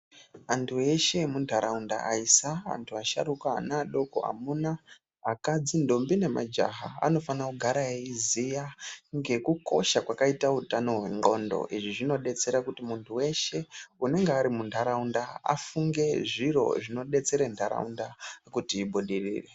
Antu ese emuunharaunda aisa vasharukwa vana vadoko amuna akadzi ndombi nemajaha anofanira kugara aiziya ngekukosha kwakita hutano hwendhlondo izvi zvinobetsera kuti muntu weshe unege ari munharaunda afunge zvintu zvinobetsere nharaunda kuti ibudirire.